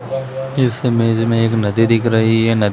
इस इमेज में एक नदी दिख रही है नदी--